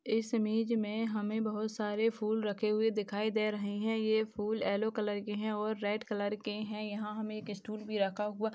इस इमेज हमे बहुत सारे फूल रखे हुए दिखाई दे रहे है यह फूल यल्लो कलर के है और रेड कलर के है यहा हमे एक स्टूल भी रखा हुआ --